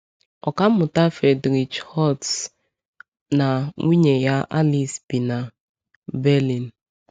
Ọkà mmụta Friedrich Holtz na nwunye ya Alice bi na Berlin.